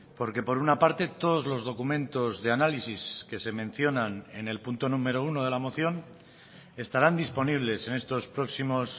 porque por una parte todos los documentos de análisis que se mencionan en el punto número uno de la moción estarán disponibles en estos próximos